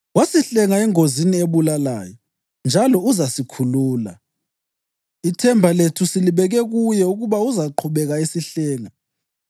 Wasihlenga engozini ebulalayo, njalo uzasikhulula. Ithemba lethu silibeke kuye ukuba uzaqhubeka esihlenga,